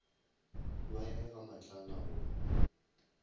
ba ye ga matlala go